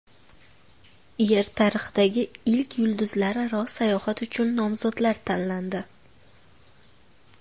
Yer tarixidagi ilk yulduzlararo sayohat uchun nomzodlar tanlandi.